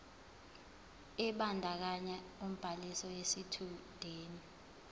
ebandakanya ubhaliso yesitshudeni